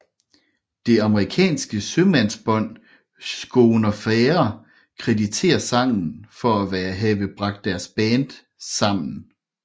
Det amerikanske sømandsband Schooner Fare krediterer sangen for at have bragt deres band sammen